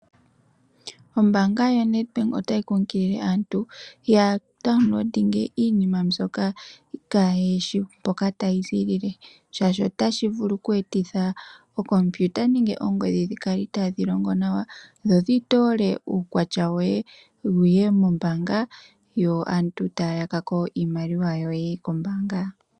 Ombaanga yo Nedbank ota yi kunkilile aantu ya downloadinge iinima mbyoka kaayishi mpoka ta yi ziilile, shaashi otashi vulu oku etitha ookompyuta nenge oongodhi dhikale itaadhi longo nawa dho dhi toole uukwatya woye wuye mombaanga, yo aantu taya yakako iimaliwa yoye kombaanga.